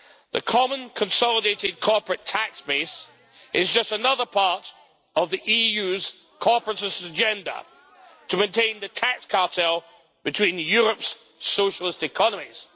The Common Consolidated Corporate Tax Base is just another part of the EU's corporatist agenda to maintain the tax cartel between Europe's socialist economies.